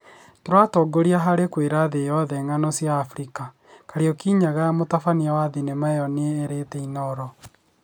"Tũratongoria harĩ kwĩra thĩĩ yothe ng'ano cĩa Afrika" Kariuki Nyaga, mũtabania wa thenema ĩyo ni erĩte Inoro